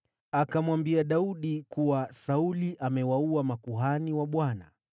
Akamwambia Daudi kuwa Sauli amewaua makuhani wa Bwana .